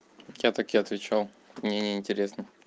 я так и отвечал мне неинтересно